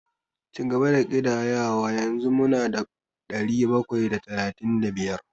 Cigaba da ƙidayawa, yanzu mu na da ɗari bakwai da talatin da biyar.